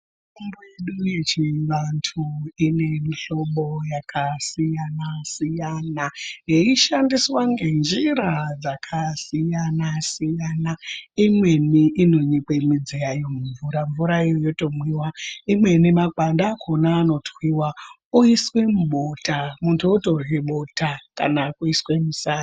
Mitombo yedu yechiantu inemihlobo yakasiyanasiyana yeishandiswa ngenjira dzakasiyanasiyana imweni inonyikwe midzi yayo mumvura ,mvurayo yoto mwiwa ,imweni makwande akona anootwiwa oiswe mubota muntu wotorye bota kana kuise musadza.